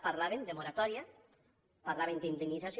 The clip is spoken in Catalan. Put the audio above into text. parlàvem de moratòria parlàvem d’indemnització